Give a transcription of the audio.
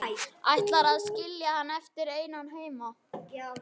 Ætlarðu að skilja hann eftir einan heima?